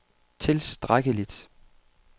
tilstrækkeligt